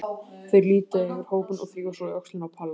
Þeir líta yfir hópinn og þrífa svo í öxlina á Palla.